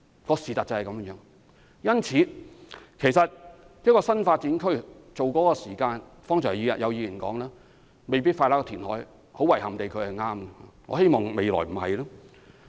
因此，剛才有議員提到，興建一個新發展區所需要的時間未必較填海少，很遺憾地他是對的，我希望未來不會這樣。